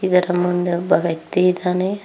ಇದರ ಮುಂದೆ ಒಬ್ಬ ವ್ಯಕ್ತಿ ಇದ್ದಾನೆ.